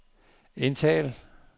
indtal